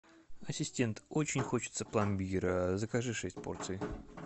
ассистент очень хочется пломбира закажи шесть порций